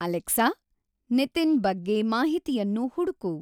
Alexa, Nitin ಬಗ್ಗೆ ಮಾಹಿತಿಯನ್ನು ಹುಡುಕು